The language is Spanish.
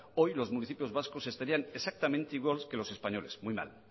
hoy los municipios vascos estarían exactamente igual que los españoles muy mal